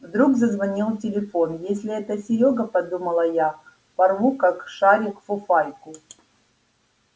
вдруг зазвонил телефон если это серёга подумала я порву как шарик фуфайку